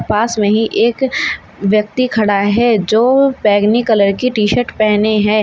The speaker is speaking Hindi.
पास में ही एक व्यक्ती खड़ा है जो बैगनी कलर की टी शर्ट पेहने है।